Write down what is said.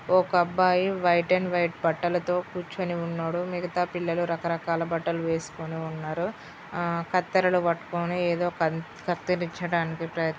ఒక అబ్బాయి white and white బట్టాలతో కూర్చుని ఉన్నాడు మిగతా పిల్లలు రక రకాల బట్టలు వేస్కొని ఉన్నారు ఆ కత్తెరలు పట్టుకొని ఏదో పన్ కత్తిరించడానికి ప్రయత్ --